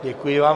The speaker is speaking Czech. Děkuji vám.